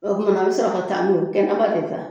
O kuma an bɛ sɔrɔ ka taa n'o ye kɛnɛba de fɛ aa.